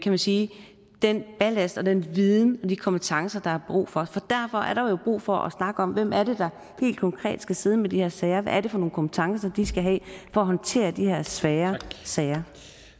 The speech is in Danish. man sige den ballast den viden eller de kompetencer der er brug for derfor er der jo brug for at snakke om hvem det er der helt konkret skal sidde med de her sager hvad det er for nogle kompetencer de skal have for at håndtere de her svære sager